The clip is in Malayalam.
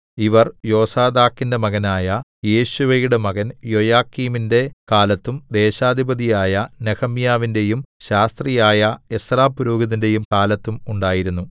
ഇവർ യോസാദാക്കിന്റെ മകനായ യേശുവയുടെ മകൻ യോയാക്കീമിന്റെ കാലത്തും ദേശാധിപതിയായ നെഹെമ്യാവിന്റെയും ശാസ്ത്രിയായ എസ്രാപുരോഹിതന്റെയും കാലത്തും ഉണ്ടായിരുന്നു